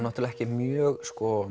ekki mjög